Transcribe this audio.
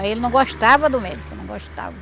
Aí ele não gostava do médico, não gostava.